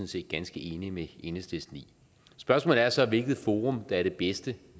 set ganske enige med enhedslisten i spørgsmålet er så hvilket forum der er det bedste